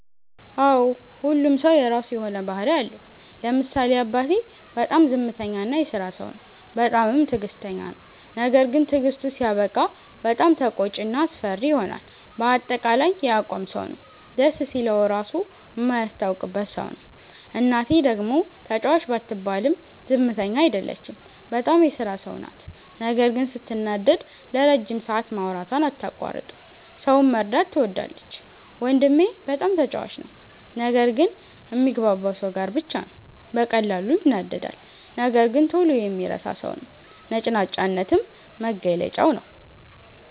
አዎ ሁሉም ሠው የራሱ የሆነ ባህርይ አለው። ለምሳሌ አባቴ፦ በጣም ዝምተኛ እና የስራ ሠው ነው። በጣምም ትግስተኛ ነው። ነገርግን ትግስቱ ሲያበቃ በጣም ተቆጭ እና አስፈሪ ይሆናል በአጠቃላይ የአቋም ሠው ነው። ደስ ሲለው ራሡ ማያስታውቅበት ሠው ነው። እናቴ፦ ደግሞ ተጫዋች ባትባልም ዝምተኛ አይደለችም። በጣም የስራ ሠው ናት ነገር ግን ስትናደድ ለረጅም ሠአት ማውራቷን አታቋርጥም። ሠውን መርዳት ትወዳለች። ወንድሜ፦ በጣም ተጫዋች ነው። ነገር ግን ሚግባባው ሠው ጋር ብቻ ነው። በቀላሉ ይናደዳል ነገር ግን ቶሎ የሚረሣ ሠው ነው። ነጭናጫነትም መገለጫው ነዉ።